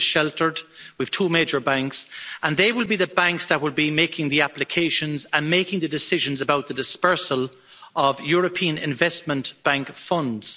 It is still sheltered, with two major banks, and they will be the banks that will be making the applications and making the decisions about the disbursement of European Investment Bank funds.